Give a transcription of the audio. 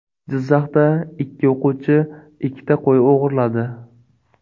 Jizzaxda ikki o‘quvchi ikkita qo‘y o‘g‘irladi.